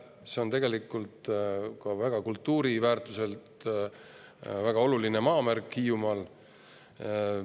See on tegelikult ka kultuuriväärtuselt väga oluline maamärk Hiiumaal.